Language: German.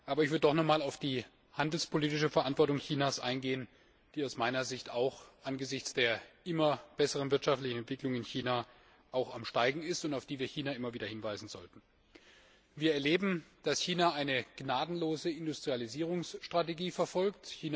Aber ich möchte noch einmal auf die handelspolitische Verantwortung Chinas eingehen, die aus meiner Sicht auch angesichts der immer besseren wirtschaftlichen Entwicklung in China zunimmt und auf die wir China immer wieder hinweisen sollten. Wir erleben, dass China eine gnadenlose Industrialisierungsstrategie verfolgt.